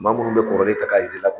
Maa munnu bɛ kɔrɔlen ta k'a yir'i la.